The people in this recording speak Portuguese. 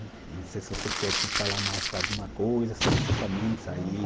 Não sei se você quer que falar mais alguma coisa especificamente aí.